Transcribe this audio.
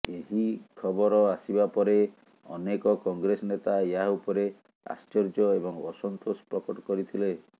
ଏହି ଖବର ଆସିବା ପରେ ଅନେକ କଂଗ୍ରେସ ନେତା ଏହା ଉପରେ ଆଶ୍ଚର୍ଯ୍ୟ ଏବଂ ଅସନ୍ତୋଷ ପ୍ରକଟ କରିଥିଲେ